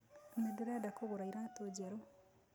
Nĩnderenda kũgũra iratũ njerũ